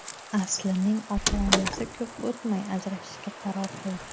Aslining ota-onasi ko‘p o‘tmay ajrashishga qaror qildi.